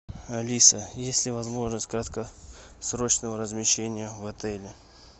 алиса есть ли возможность краткосрочного размещения в отеле